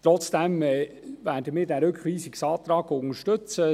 Trotzdem werden wir den Rückweisungsantrag unterstützen.